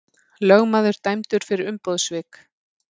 Lögmaður dæmdur fyrir umboðssvik